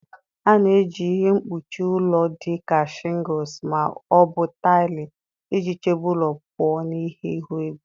A na-eji ihe mkpuchi ụlọ dị ka shingles ma ọ bụ taịlị iji chebe ụlọ pụọ na ihe ihu igwe.